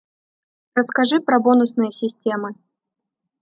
расскажи про бонусные системы